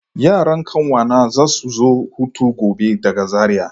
Yaran kawuna za su zo hutu gobe daga Zariya.